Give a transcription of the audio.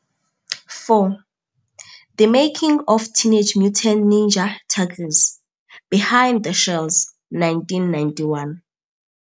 4. The Making of 'Teenage Mutant Ninja Turtles'- Behind the Shells. 1991.